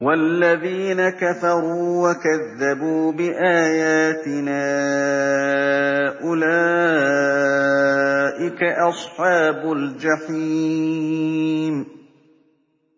وَالَّذِينَ كَفَرُوا وَكَذَّبُوا بِآيَاتِنَا أُولَٰئِكَ أَصْحَابُ الْجَحِيمِ